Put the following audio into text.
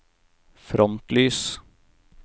frontlys